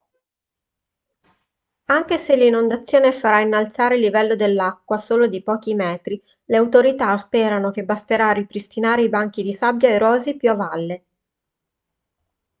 anche se l'inondazione farà innalzare il livello dell'acqua solo di pochi metri le autorità sperano che basterà a ripristinare i banchi di sabbia erosi più a valle